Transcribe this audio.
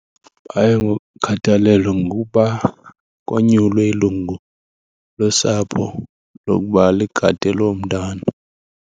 Baye ngokhathalelwa ngokuba konyulwe ilungu losapho lokuba ligade lo mntana.